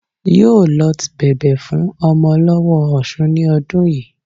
Yóò lot bẹ̀bẹ̀ fún ọmọ lọ́wó ọsun ní ọdún yìí